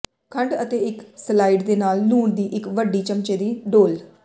ਖੰਡ ਅਤੇ ਇੱਕ ਸਲਾਇਡ ਦੇ ਨਾਲ ਲੂਣ ਦੀ ਇੱਕ ਵੱਡੀ ਚਮਚੇ ਦੀ ਡੋਲ੍ਹ